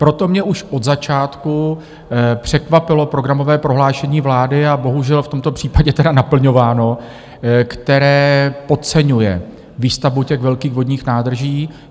Proto mě už od začátku překvapilo programové prohlášení vlády, a bohužel v tomto případě tedy naplňováno, které podceňuje výstavbu těch velkých vodních nádrží.